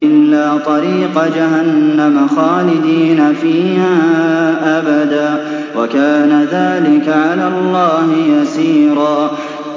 إِلَّا طَرِيقَ جَهَنَّمَ خَالِدِينَ فِيهَا أَبَدًا ۚ وَكَانَ ذَٰلِكَ عَلَى اللَّهِ يَسِيرًا